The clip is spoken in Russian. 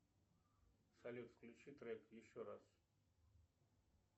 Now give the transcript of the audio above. салют включи трек еще раз